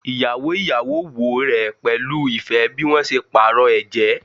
Iyawo iyawo wo rẹ pẹlu ifẹ bi wọn ṣe paarọ ẹjẹ